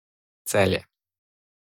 Celje.